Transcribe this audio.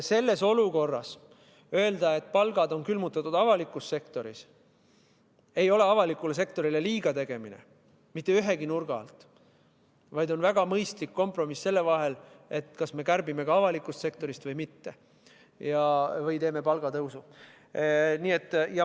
Sellises olukorras öelda, et palgad on avalikus sektoris külmutatud, ei ole avalikule sektorile liiga tegemine – mitte ühegi nurga alt –, vaid see on väga mõistlik kompromiss selle vahel, kas me kärbime avaliku sektori kulusid või ei kärbi või teeme palgatõusu.